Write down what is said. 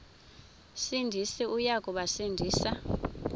sindisi uya kubasindisa